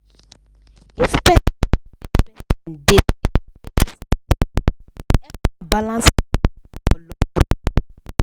if person dey save person dey save steady steady e go help am balance money matter for long run.